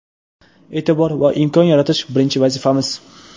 e’tibor va imkon yaratish — birinchi vazifamiz!.